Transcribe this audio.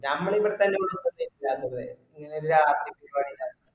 ഞമ്മൾ ഇവിടെത്തന്നെ രാത്രി പരിപാടില്ല